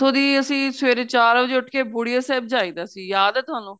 ਦੀ ਅਸੀਂ ਸਵੇਰੇ ਚਾਰ ਵਜੇ ਉਠ ਕੇ ਬੁੜੀਆ ਸਾਹਿਬ ਜੈ ਦਾ ਸੀ ਯਾਦ ਏ ਤੁਹਾਨੂੰ